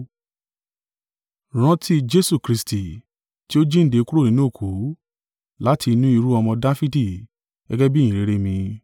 Rántí Jesu Kristi, ti ó jíǹde kúrò nínú òkú, láti inú irú-ọmọ Dafidi gẹ́gẹ́ bí ìyìnrere mi.